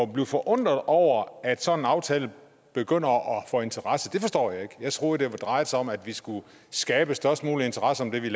blive forundret over at en sådan aftale begynder at få interesse forstår jeg ikke jeg troede det drejede sig om at vi skulle skabe størst mulig interesse om det vi